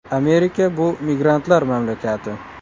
Amerika bu migrantlar mamlakati.